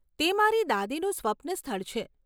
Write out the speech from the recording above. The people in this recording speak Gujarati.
તે મારી દાદીનું સ્વપ્ન સ્થળ છે.